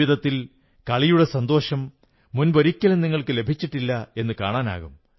ജീവിതത്തിൽ കളിയുടെ സന്തോഷം മുമ്പൊരിക്കലും നിങ്ങൾക്കു ലഭിച്ചിട്ടില്ലെന്നു കാണാനാകും